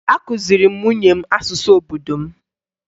Akụziri m nwunye m asụsụ obodo m